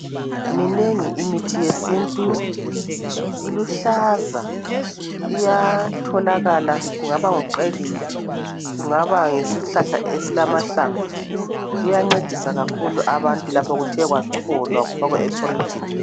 Minengi imithi yesintu, iluhlaza iyatholakala kungaba nguqethu , kungaba yisihlahla esilamahlamvu kuyancedisa kakhulu abantu lapha kuthe kwacholwa kwafakwa ephorijini.